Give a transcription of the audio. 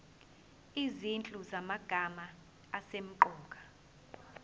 izinhlu zamagama asemqoka